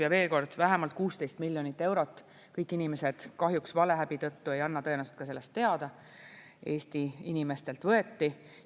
Ja veel kord: vähemalt 16 miljonit eurot – kõik inimesed kahjuks valehäbi tõttu ei anna tõenäoliselt ka sellest teada – Eesti inimestelt võeti.